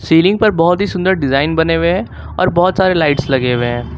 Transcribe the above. Ceiling पर बहुत ही सुंदर डिजाइन बने हुए हैं और बहुत सारे लाइट्स लगे हुए हैं।